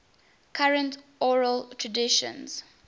current oral traditions